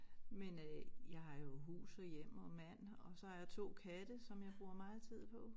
Men øh jeg har jo hus og hjem og mand og så har jeg 2 katte som jeg bruger meget tid på